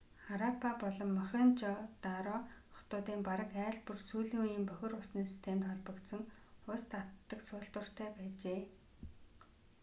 хараппа болон мохенжо-даро хотуудын бараг айл бүр сүүлийн үеийн бохир усны системд холбогдсон ус татдаг суултууртай байжээ